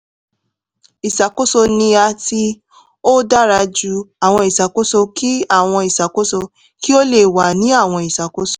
iṣakoso ni a ti o dara ju awọn iṣakoso ki awọn iṣakoso ki o le wa ni awọn iṣakoso